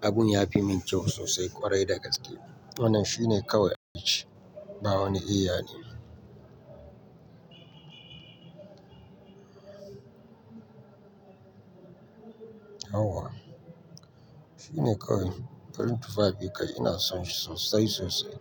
abun ya fi min kyau sosai ƙwarai dagaske. Wannan shi ne kawai, ba wani eya ne. Yauwa. Shi ne kawai, farin tufafi kai ina son shi sosai sosai.